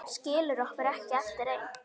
Skilur okkur eftir ein.